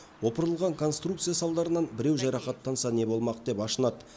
опырылған конструкция салдарынан біреу жарақаттанса не болмақ деп ашынады